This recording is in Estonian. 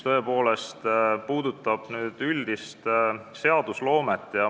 Üks puudutab üldist seadusloomet.